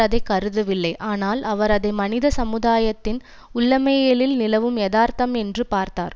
அதை கருதவில்லை ஆனால் அவர் அதை மனித சமுதாயத்தின் உள்ளமையியலில் நிலவும் எதார்த்தம் என்று பார்த்தார்